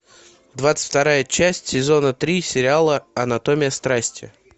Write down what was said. двадцать вторая часть сезона три сериала анатомия страсти